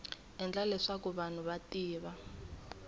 endla leswaku vanhu va tiva